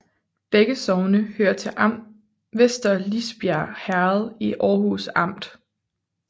Begge sogne hørte til Vester Lisbjerg Herred i Aarhus Amt